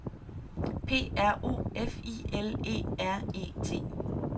P R O F I L E R E T